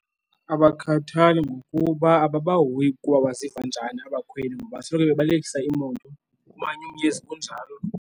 Abakhathali ngokuba ababahoyi ukuba waziva njani abakhweli ngoba asoloko bebalekisa iimoto kumanyumnyezi kunjalo.